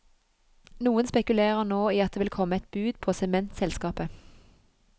Noen spekulerer nå i at det vil komme et bud på sementselskapet.